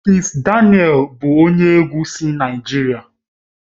Kizz daniel bụ onye egwu si Naijiria